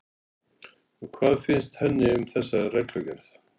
Og hvað finnst henni um þessa reglugerð?